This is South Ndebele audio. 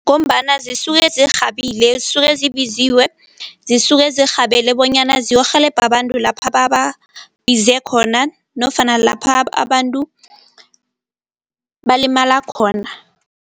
Ngombana zisuke zirhabile, zisuke zibiziwe, zisuke zirhabele bonyana ziyokurhelebha abantu lapha bababize khona nofana lapha abantu balimala khona.